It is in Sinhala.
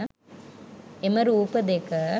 එම රූප දෙක